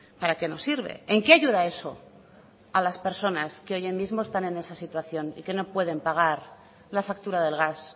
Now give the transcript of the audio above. para qué nos sirve en qué ayuda eso a las personas que hoy mismo está en esa situación y que no pueden pagar la factura del gas